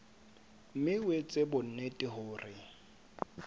mme o etse bonnete hore